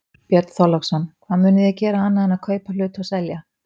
Björn Þorláksson: Hvað munið þið gera annað en að kaupa hluti og selja?